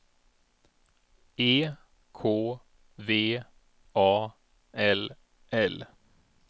E K V A L L